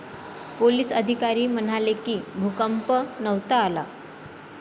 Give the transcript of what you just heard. Police अधिकारी म्हणाले की, भूकंप नव्हता आला.